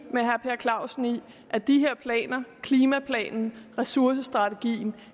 med herre per clausen i at de her planer klimaplanen og ressourcestrategien